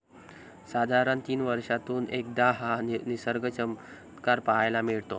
साधारण तीन वर्षातून एकदा हा निसर्ग चमत्कार पाहायला मिळतो.